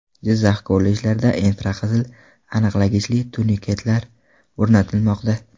Jizzax kollejlarida infraqizil aniqlagichli turniketlar o‘rnatilmoqda.